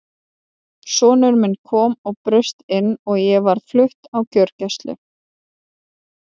Sonur minn kom og braust inn og ég var flutt á gjörgæslu.